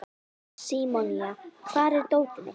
Símonía, hvar er dótið mitt?